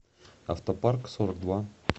автопарк сорок два